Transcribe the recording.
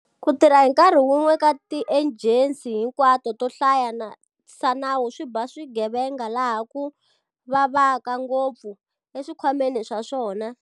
Ku tirha hi nkarhi wun'we ka tiejensi hinkwato to hlayisa nawu swi ba swigevenga laha ku vavaka ngopfu- eswikhwameni swa swona.